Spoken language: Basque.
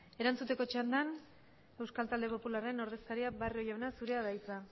erantzuteko txandan euskal talde popularren ordezkaria barrio jauna zurea da hitza